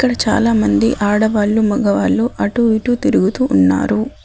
ఇక్కడ చాలామంది ఆడవాళ్ళు మగవాళ్ళు అటు ఇటు తిరుగుతూ ఉన్నారు.